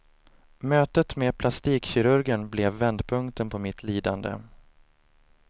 Mötet med plastikkirurgen blev vändpunkten på mitt lidande.